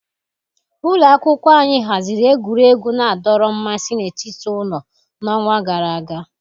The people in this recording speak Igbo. Ụlọ akwụkwọ anyị haziri egwuregwu na-adọrọ mmasị n'etiti ụlọ n'ọnwa gara aga.